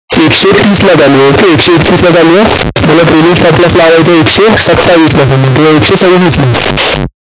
एकशे तीसला चालू आहे. मला trailing stop loss लावयाचा आहे, एकशे सत्तावीसला किंवा एकशे सव्वीसला